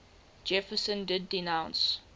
jefferson did denounce